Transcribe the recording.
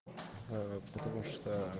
ээ потому что